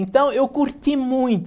Então, eu curti muito.